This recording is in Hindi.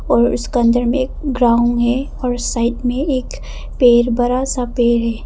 और इसका अंदर में एक ग्राउंड में और साइड में एक पेड़ बड़ा सा पेड़ है।